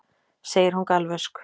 segir hún galvösk.